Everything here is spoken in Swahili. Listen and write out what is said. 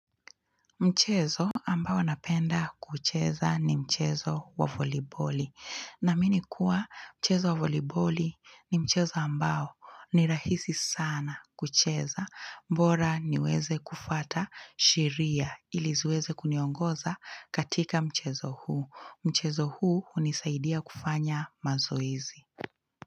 Mchezo ambao napenda kuucheza ni mchezo wa voliboli. Naamini kuwa mchezo wa voliboli ni mchezo ambao ni rahisi sana kucheza bora niweze kufata sheria ili ziweze kuniongoza katika mchezo huu. Mchezo huu unisaidia kufanya mazoizi.